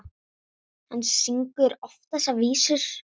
Hann syngur þessar vísur oft.